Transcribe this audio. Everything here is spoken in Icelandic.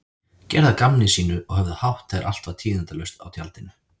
Gerðu að gamni sínu og höfðu hátt þegar allt var tíðindalaust á tjaldinu.